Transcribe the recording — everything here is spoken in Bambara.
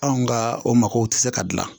Anw ka o mako tɛ se ka dilan